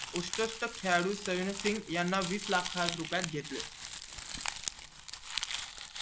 उत्कृष्ट खेळाडू सिघ याना वीस लाख रुपयात घेतले